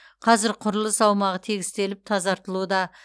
қазір құрылыс аумағы тегістеліп тазартылуда